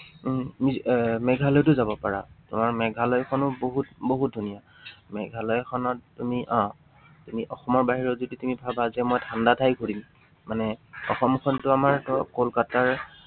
উম তুমিএৰ মেঘালয়তো যাব পাৰা। তুমি এৰ মেঘালয়খনো বহুত, বহুত ধুনীয়া। মেঘালয়খনত তুমি আহ এই অসমৰ বাহিৰত যদি তুমি ভাবা ঠাণ্ডা ঠাই ঘূৰিম। মানে অসমখনতো আমাৰ ধৰক কলকাতাৰ